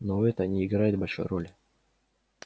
но это не играет большой роли